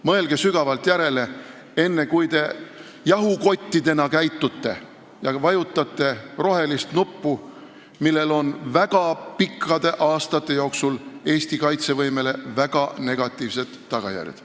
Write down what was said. Mõelge sügavalt järele, enne kui te jahukottidena käitute ja vajutate rohelist nuppu, millel on väga pikkade aastate jooksul Eesti kaitsevõimele väga negatiivsed tagajärjed.